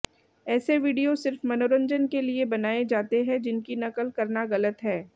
ऐसे वीडियो सिर्फ मनोरंजन के लिए बनाये जाते हैं जिनकी नकल करना गलत है